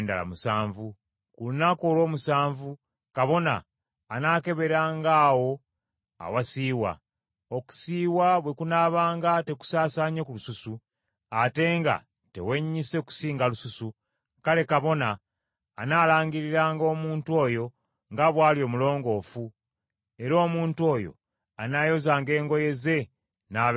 Ku lunaku olw’omusanvu kabona anaakeberanga awo awasiiwa, okusiiwa bwe kunaabanga tekusaasaanye ku lususu, ate nga tewennyise kusinga lususu, kale, kabona anaalangiriranga omuntu oyo nga bw’ali omulongoofu; era omuntu oyo anaayozanga engoye ze n’abeera mulongoofu.